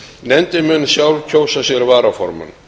nefndin mun sjálf kjósa sér varaformann